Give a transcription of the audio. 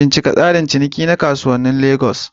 Bincika tsarin ciniki na kasuwannin Legas.